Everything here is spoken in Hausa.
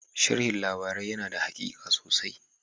Sharhin labarai yana da haƙiƙa sosai.